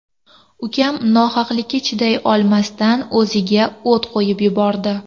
Ukam nohaqlikka chiday olmasdan o‘ziga o‘t qo‘yib yubordi.